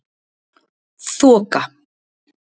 Þoka